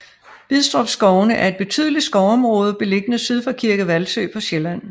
Bidstrup skovene er et betydeligt skovområde beliggende syd for Kirke Hvalsø på Sjælland